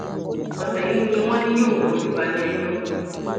ọsẹ yìí ni ni wọn ní yóò fojú balẹẹjọ